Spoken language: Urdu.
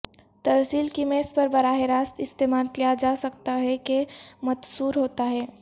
ترسیل کی میز پر براہ راست استعمال کیا جا سکتا ہے کہ متصور ہوتا ہے